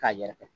K'a yɛrɛkɛ